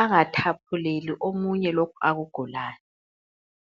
angathaphuleli omunye lokhu akugulayo .